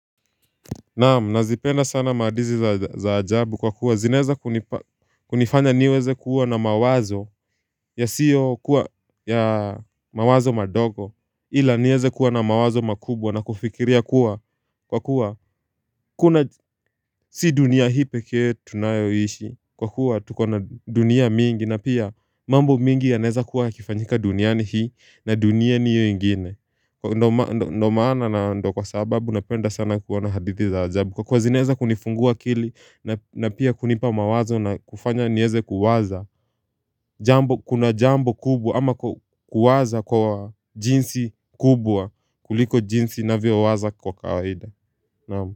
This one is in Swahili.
Naamu, nazipenda sana maadizi za ajabu kwa kuwa zinaeza kunifanya niweze kuwa na mawazo ya siyo kuwa ya mawazo madogo ila nieze kuwa na mawazo makubwa na kufikiria kuwa kwa kuwa kuna si dunia hii pekee tunayoishi kwa kuwa tukona dunia mingi na pia mambo mingi ya naeza kuwa yakifanyika duniani hii na dunia niyo ingine Ndomaana na ndo kwa sababu napenda sana kuwana hadithi za ajabu Kwa kuwa zinaeza kunifungua akili na pia kunipa mawazo na kufanya nieze kuwaza jambo Kuna jambo kubwa ama kuwaza kwa jinsi kubwa kuliko jinsi na vio waza kwa kawaida.